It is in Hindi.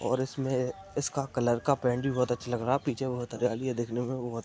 और इसमें इसका कलर का पेंट भी बहुत अच्छा लग रहा है पीछे बहुत हरियाली है देखने में बहुत--